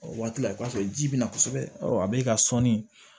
O waati la i b'a sɔrɔ ji bɛna kosɛbɛ a b'e ka sɔni